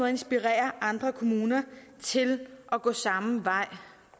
at inspirere andre kommuner til at gå samme vej